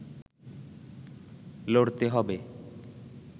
লড়তে হবে